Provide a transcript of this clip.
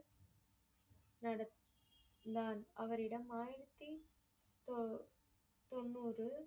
நடத்~நடத்தான் அவரிடம் ஆயிரத்தி தோ~ தொண்ணூறு